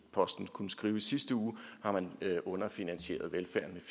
posten kunne skrive i sidste uge har man underfinansieret velfærden